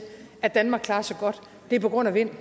at danmark klarer sig godt er på grund af vind